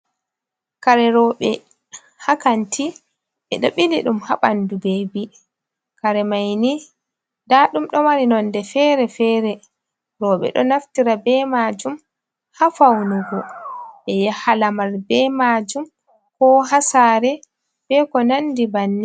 Kare roɓe ha kanti ɓe ɗo bili ɗum ha ɓandu bebi, kare maini da ɗum ɗo mari nonɗe fere-fere, roɓe ɗo naftira be majum ha faunugo be yaha lamar be majum ko ha saare be ko nandi banni.